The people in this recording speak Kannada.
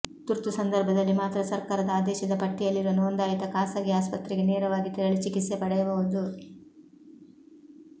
ತುರ್ತು ಸಂದರ್ಭದಲ್ಲಿ ಮಾತ್ರ ಸರ್ಕಾರದ ಆದೇಶದ ಪಟ್ಟಿಯಲ್ಲಿರುವ ನೋಂದಾಯಿತ ಖಾಸಗಿ ಆಸ್ಪತ್ರೆಗೆ ನೇರವಾಗಿ ತೆರಳಿ ಚಿಕಿತ್ಸೆ ಪಡೆಯಬಹುದು